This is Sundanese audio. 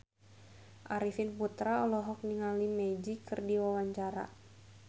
Arifin Putra olohok ningali Magic keur diwawancara